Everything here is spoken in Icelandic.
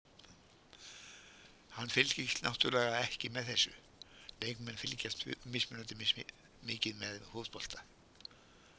Hann fylgist náttúrulega ekki með þessu, leikmenn fylgjast mismunandi mikið með fótbolta.